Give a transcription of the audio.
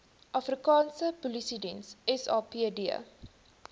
afrikaanse polisiediens sapd